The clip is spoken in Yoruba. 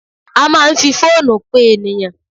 A máa ń fi fóònù pe ènìyàn.